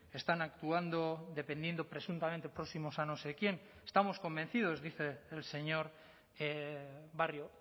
están actuando dependiendo presuntamente próximos a no sé quién estamos convencidos dice el señor barrio